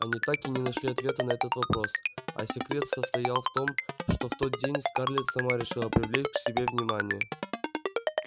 они так и не нашли ответа на этот вопрос а секрет состоял в том что в тот день скарлетт сама решила привлечь к себе их внимание